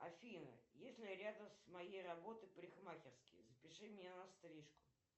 афина есть ли рядом с моей работой парикмахерские запиши меня на стрижку